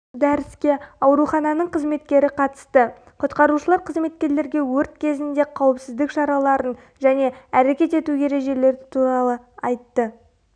дәріске аурухананың қызметкері қатысты құтқарушылар қызметкерлерге өрт кезінде қауіпсіздік шараларын және әрекет ету ережелері туралы айтты